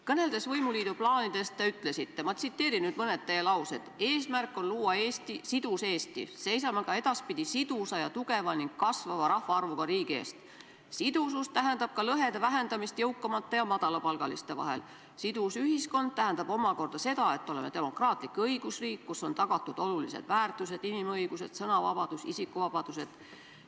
Kõneldes võimuliidu plaanidest, te ütlesite : "Eesmärk on luua sidus Eesti", "Seisame ka edaspidi sidusa ja tugeva ning kasvava rahvaarvuga riigi eest", "Sidusus tähendab ka lõhede vähendamist jõukamate ja madalapalgaliste inimeste vahel", "Sidus ühiskond tähendab omakorda seda, et oleme demokraatlik õigusriik, kus on tagatud olulised väärtused, inimõigused, sõnavabadus ja isikuvabadused".